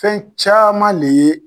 Fɛn caman le ye